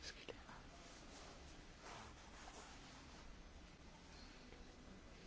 Az Európai Unió sok mindennel foglalkozott a fogyatékossággal élőkre vonatkozóan.